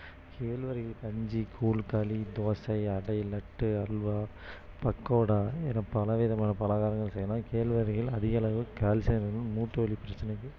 கேழ்வரகில் கஞ்சி கூழ் களி தோசை அடை லட்டு அல்வா பக்கோடா என பல விதமான பலகாரங்கள் செய்ய்யலாம் கேழ்வரகில் அதிக அளவு கால்சியம் இருக்கு மூட்டு வலி பிரச்சனைக்கு